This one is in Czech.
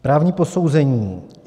Právní posouzení.